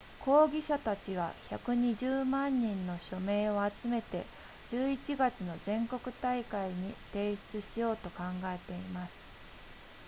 抗議者たちは120万人の署名を集めて11月の全国大会に提出しようと考えています